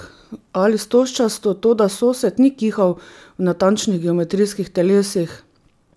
Ali stožčasto, toda sosed ni kihal v natančnih geometrijskih telesih.